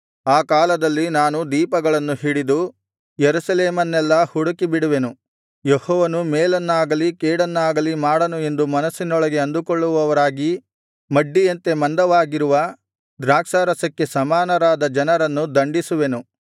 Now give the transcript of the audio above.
ಆ ಕಾಲದಲ್ಲಿ ನಾನು ದೀಪಗಳನ್ನು ಹಿಡಿದು ಯೆರೂಸಲೇಮನ್ನೆಲ್ಲಾ ಹುಡುಕಿಬಿಡುವೆನು ಯೆಹೋವನು ಮೇಲನ್ನಾಗಲಿ ಕೇಡನ್ನಾಗಲಿ ಮಾಡನು ಎಂದು ಮನಸ್ಸಿನೊಳಗೆ ಅಂದುಕೊಳ್ಳುವವರಾಗಿ ಮಡ್ಡಿಯಂತೆ ಮಂದವಾಗಿರುವ ದ್ರಾಕ್ಷಾರಸಕ್ಕೆ ಸಮಾನರಾದ ಜನರನ್ನು ದಂಡಿಸುವೆನು